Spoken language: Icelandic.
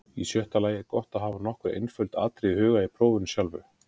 Í sjötta lagi er gott að hafa nokkur einföld atriði í huga í prófinu sjálfu.